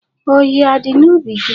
Ọhịa adị n'ubi gị?